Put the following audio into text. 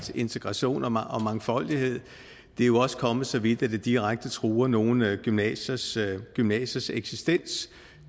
integration og mangfoldighed det er jo også kommet så vidt at det direkte truer nogle gymnasiers gymnasiers eksistens